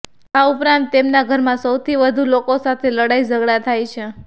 આ ઉપરાંત તેમના ઘરમાં સૌથી વધુ લોકો સાથે લડાઇ ઝઘડા થાય છે